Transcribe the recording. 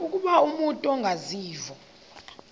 ukuba umut ongawazivo